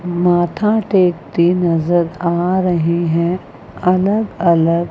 माथा टेकते नजर आ रहे है अलग अलग--